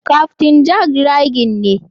Captain Jack dry gin ne.